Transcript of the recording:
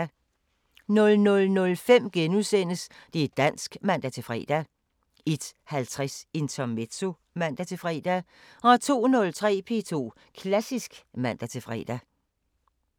00:05: Det´ dansk *(man-fre) 01:50: Intermezzo (man-fre) 02:03: P2 Klassisk (man-fre)